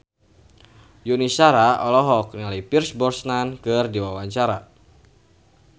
Yuni Shara olohok ningali Pierce Brosnan keur diwawancara